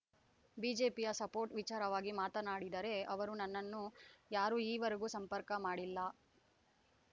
ಬಿಜೆಪಿಯ ಸಪೋರ್ಟ್ ವಿಚಾರವಾಗಿ ಮಾತನಾಡಿದರೆ ಅವರು ನನ್ನನ್ನ ಯಾರು ಈವರೆಗೂ ಸಂಪರ್ಕ ಮಾಡಿಲ್ಲ